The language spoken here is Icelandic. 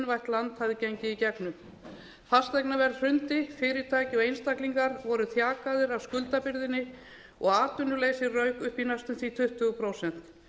land hafði gengið í gegnum fasteignaverð hrundi fyrirtæki og einstaklingar voru þjakaðir af skuldabyrðinni og atvinnuleysi rauk upp í næstum því tuttugu prósent